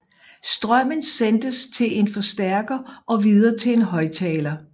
Strømmen sendtes til en forstærker og videre til en højttaler